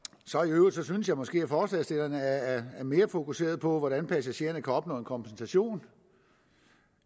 øvrigt synes jeg måske at forslagsstillerne er mere fokuseret på hvordan passagererne kan opnå en kompensation